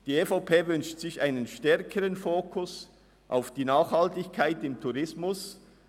Die EVP wünscht sich einen stärkeren Fokus auf die Nachhaltigkeit im Tourismus.